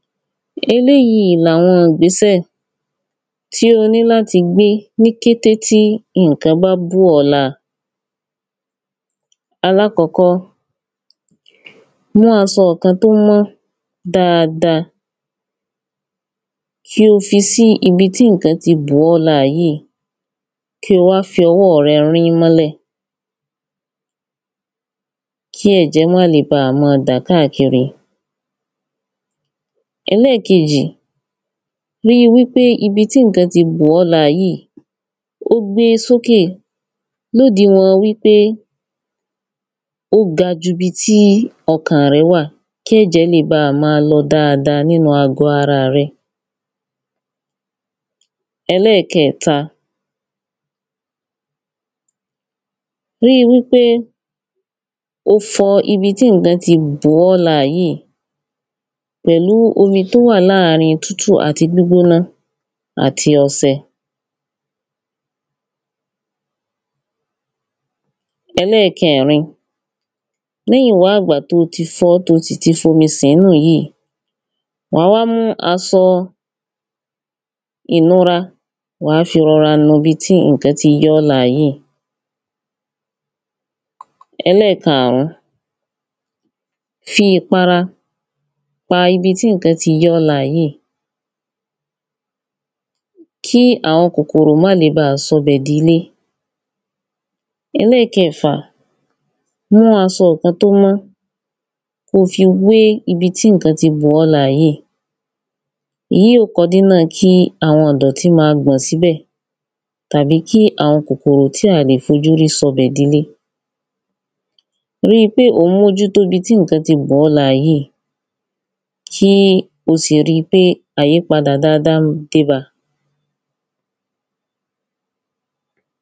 eléyíi làwọn ìgbésẹ̀ tí o ní láti gbé ní kété tí ǹkan bá bù ọ́ láa. alákọ́kọ́, mú asọ kan tó mọ́ dáada, kí ó fi sí ibi tí ǹkan ti bù ọ́ láa yíì kí ó wa fi ọwọ́ rẹ rín mọ́lẹ̀, kí ẹ̀jẹ́ máa le baà mọ́ọ dà káàkiri. ẹlẹ́kejì, ríi wípé ibi tí ǹkan ti bù ọ́ láa yíì ó gbé sókè lódiwọ̀n wípé ó ga jubi tí ọkàn rẹ́ wà, kí ẹ̀jẹ́ le baà máa lọ dáada nínu àgbọ́ araà rẹ. ẹlẹ́kẹẹ̀ta, ríi wípé o fọ ibi tí ǹkan ti bù ọ́ láa yíì, pẹ̀lú omi tó wà láàrin tútù àti gbígbóná, àti ọṣẹ. ẹlẹ́kẹẹ̀rin, lẹ́yìnwá ìgbà to ti fọ́, to sìti fomi sọ̀ọ́nù yíi, wà á wá mú asọ ìnura, wà á fi rọra nu ibi tí ǹkan ti ya ọ́ láa yìí. ẹlẹ́karún, fi ìpara pa ibi tí ǹkan ti ya ọ́ láa yìí, kí àwọn kòkòrò má le baà sọbẹ̀ dilé. ẹlẹ́kẹfà, mú aṣọ kan tó mọ́ ko fi wé ibi tí ǹkan ti bu ọ́ láa yìí. èyí yíò kodínà kí àwọn ìdọ̀tí ma gbọ̀n síbẹ̀ tàbí kí àwọn kòkòrò tí à lè fojú rí sọbẹ̀ dilé. ríi pé ò ń mójútó ibi tí ǹkan ti bà ọ́ láa yìí, kí o sì ri pé àyípadà daáda déba.